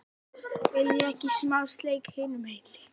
VILJIÐI EKKI SMÁ SLEIK HINUM MEGIN LÍKA!